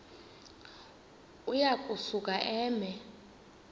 uya kusuka eme